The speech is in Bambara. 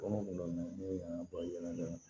ne ye n ka bayɛli kɛ